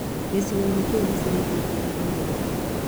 Gĩcicio kĩu nĩ ciringi ngiri ĩmwe